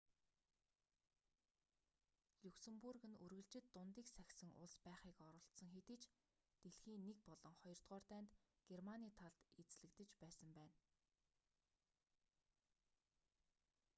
люксэнбург нь үргэлжид дундийг сахисан улс байхыг оролдсон хэдий ч дэлхийн 1 болон 2-р дайнд германы талд эзлэгдэж байсан байна